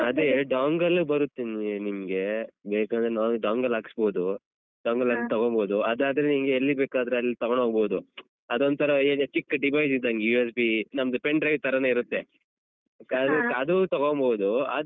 ಅದೇ dongle ಲ್ಲು ಬರುತ್ತೆ ನಿಮ್ ನಿಮ್ಗೆ ಬೇಕಾದ್ರೆ ನಾವೇ dongle ಹಾಕಿಸ್ಬೋದು dongle ಆದ್ರೆ ತಗೋಬೋದು ಅದಾದ್ರೆ ನಿನ್ಗೆ ಎಲ್ಲಿ ಬೇಕಾದ್ರು ಅಲ್ಲಿ ತಗೊಂಡೋಕ್ಬೋದು ಅದೊಂಥರ ಏನು ಚಿಕ್ಕ device ಇದ್ದಂಗೆ USB ನಮ್ದು pendrive ತರಾನೆ ಇರುತ್ತೆ correct ಅದೂ ತಗೊಂಬೋದು.